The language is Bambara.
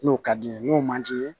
N'o ka di ye n'o man di ye